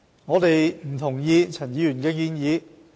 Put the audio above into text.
我們不同意陳議員的建議。